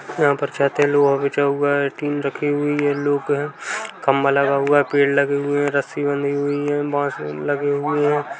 यहाँ पर छत है लोहा बिछा हुआ है टिन रखी हुई है लोग है खंबा लगा हुआ है पेड़ लगे हुए है रस्सी बँधी हुई है बाँस भी लगे हुए है।